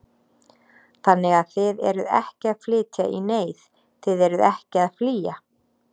Þannig að þið eruð ekki að flytja í neyð, þið eruð ekki að flýja?